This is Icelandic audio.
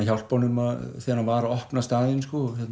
hjálpa honum þegar hann var að opna staðinn